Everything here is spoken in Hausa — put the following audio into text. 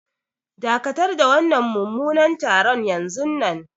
Dakatar da wannan mummunan taron yanzunnan.